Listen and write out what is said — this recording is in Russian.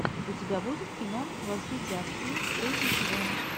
у тебя будет кино во все тяжкие третий сезон